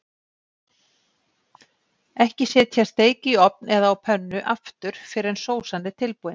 Ekki setja steik í ofn eða á pönnu aftur fyrr en sósan er tilbúin.